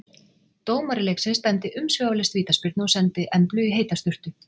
Dómari leiksins dæmdi umsvifalaust vítaspyrnu og sendi Emblu í heita sturtu.